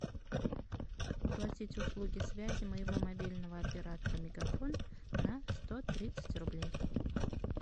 оплатить услуги связи моего мобильного оператора мегафон на сто тридцать рублей